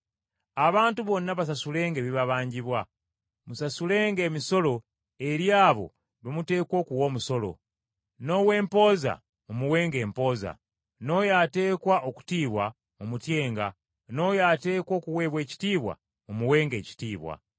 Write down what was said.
Abantu bonna basasulenga ebibabanjibwa; musasulenga emisolo eri abo be muteekwa okuwa omusolo, n’ow’empooza mumuwenga empooza; n’oyo ateekwa okutiibwa mumutyenga, n’oyo ateekwa okuweebwa ekitiibwa mumuwenga ekitiibwa.